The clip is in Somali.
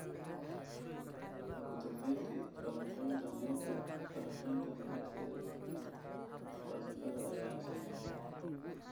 Ugu dambayntii, falanqeynta-meta-falanqaynta milicsiga falsafada ayaa la sameeyay.